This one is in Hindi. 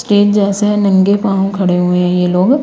स्टेज जैसे है नंगे पांव खड़े हुए हैं ये लोग--